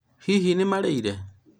hihi nĩmararĩire